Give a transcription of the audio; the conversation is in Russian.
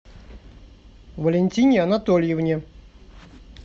валентине анатольевне